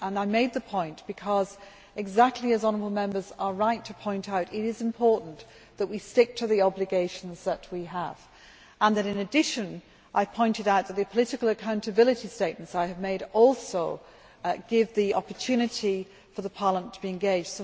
I made the point because exactly as honourable Members are right to point out it is important that we stick to the obligations that we have. In addition, I pointed out that the political accountability statements I have made also give the opportunity for Parliament to engage.